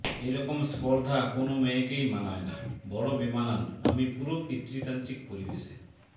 এরকম স্পর্ধা কোনও মেয়েকেই মানায় না বড় বেমানান আমি পুরো পিতৃতান্ত্রিক পরিবেশে